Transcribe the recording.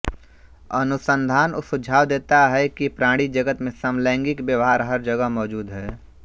अनुसन्धान सुझाव देता है कि प्राणी जगत में समलैंगिक व्यवहार हर जगह मौजूद है